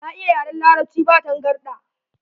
Na iya yaran Larabci ba tangarɗa.